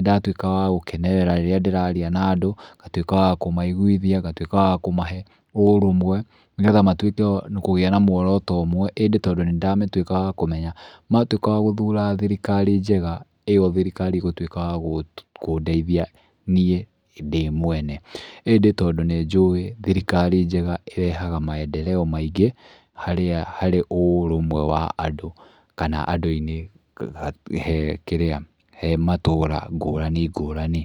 ndatuĩkaga wa gũkenerera rĩrĩa ndĩraria na andũ, ngatuĩka wa kũmaiguithia, ngatuĩka wa kũmahe ũrũmwe, nĩ getha matuĩke wa kũgĩa na muoroto ũmwe. ĩndĩ tondũ nĩ ndatuĩkaga wa kũmenya, matuĩka wa gũthura thirikari njega ĩyo thirikari ĩgutuĩka ya kũndeithia niĩ ndĩ mwene. ĩndĩ tondũ nĩ njũĩ thirirkari njega ĩrehaga maendereo maingĩ harĩa harĩ ũrũmwe wa andũ. Kana andũ-inĩ he kĩrĩa, he matũũra ngũrani ngũrani.